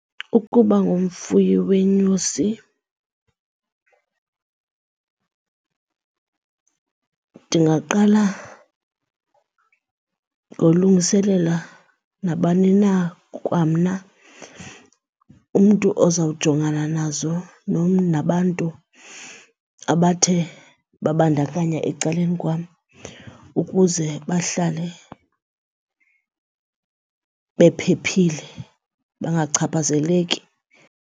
Ukuba ngumfuyi weenyosi ndingaqala ngolungiselela nabani na kwamna umntu ozawujongana nazo, nabantu abathe babandakanya ecaleni kwam ukuze bahlale bephephile bangachaphazeleki.